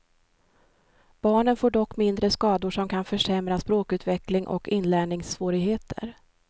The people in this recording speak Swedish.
Barnen får dock mindre skador som kan försämra språkutveckling och inlärningssvårigheter.